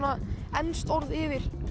enskt orð yfir